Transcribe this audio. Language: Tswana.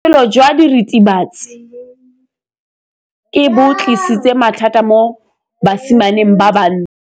Botshelo jwa diritibatsi ke bo tlisitse mathata mo basimaneng ba bantsi.